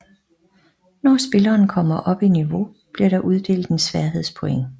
Når spilleren kommer op i niveau bliver der uddelt et færdigheds point